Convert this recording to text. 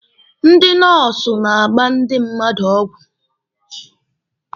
Ndị nọọsụ na-agba ndị mmadụ ọgwụ.